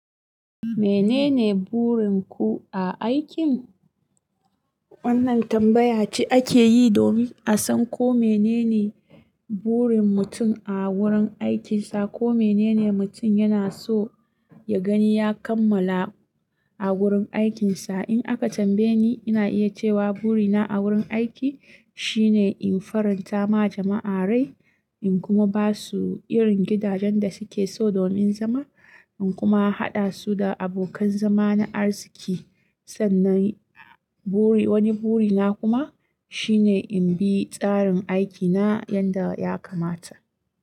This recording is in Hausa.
Menene burin ku a aikin? Wannan tambaya ce ake yi domin a san ko menene burin mutum a wurin aikinsa, ko menene mutum yana so ya gani ya kammala a wurin aikinsa. In aka tambaye ni, ina iya cewa burina a wurin aiki shine in faranta ma jama'a rai, in kuma ba su irin gidajen da suke so domin zama, in kuma haɗa su da abokan zama na arziki. Sannan wani burina kuma shine in bi tsarin aikina yadda ya kamata.